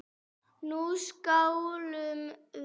Nú skálum við!